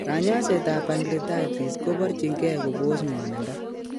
Kanyaiset ab pancreatitis ko brchin gee kobos ngwanindo